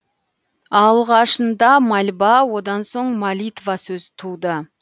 алғашында мольба одан соң молитва сөзі туды